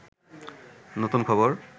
নূতন খবর